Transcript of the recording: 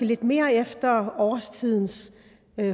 lidt mere efter årstidens